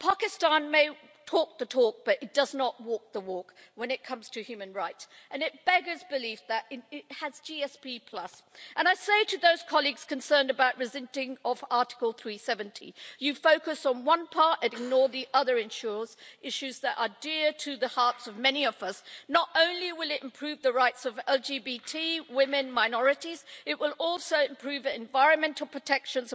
Pakistan may talk the talk, but it does not walk the walk when it comes to human rights, and it beggars belief that it has GSP status. And I say to those colleagues concerned about the rescinding of Article 370, you are focusing on one part and ignoring the other issues that are dear to the hearts of many of us. Not only will this improve the rights of LGBT people, women and minorities, it will also improve environmental and other protection